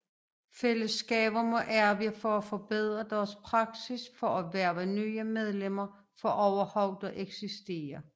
Fællesskaber må arbejde på at forbedre deres praksis for at hverve nye medlemmer for overhovedet at eksistere